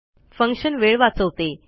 function वेळ वाचवते